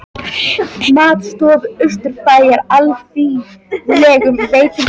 Matstofu Austurbæjar, alþýðlegum veitingastað nálægt horni Snorrabrautar og Laugavegar.